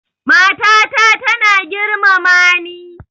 Mata ta tana girmama ni